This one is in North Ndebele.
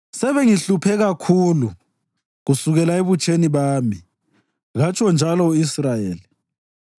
Sebengihluphe kakhulu kusukela ebutsheni bami katsho njalo u-Israyeli,